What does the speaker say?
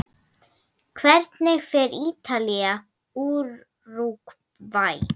Hvernig fer Ítalía- Úrúgvæ?